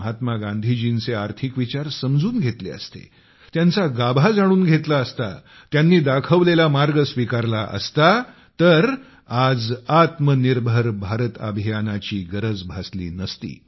महात्मा गांधीजींचे आर्थिक विचार समजून घेतले असते त्यांचा गाभा जाणून घेतला असता त्यांनी दाखवलेला मार्ग स्वीकारला असता तर आज आत्मनिर्भर भारत अभियानाची गरज भासली नसती